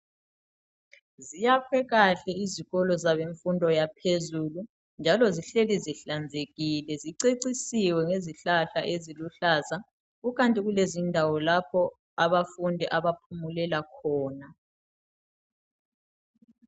Ziyakhwe kahle izikolo zabemfundo yaphezulu njalo zihleli zihlanzekile zicecisiwe ngezihlahla eziluhlaza kukanti kulezindawo lapho abafundi abaphumulela khona.